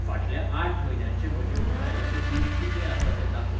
फाटल्या आठ म्हयन्यांचें म्हजें मोबायलाचें बिल कितलें आसा तें दाखय.